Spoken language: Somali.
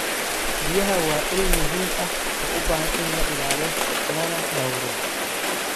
Biyaha waa il muhiim ah oo u baahan in la ilaaliyo lana dhowro.